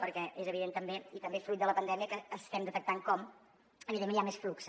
perquè és evident també i també fruit de la pandèmia que estem detectant com evidentment hi ha més flux